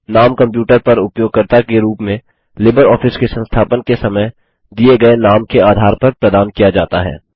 नाम कंप्यूटर पर उपयोगकर्ता के रूप में लिबरऑफिस के संस्थापन के समय दिए गए नाम के आधार पर प्रदान किया जाता है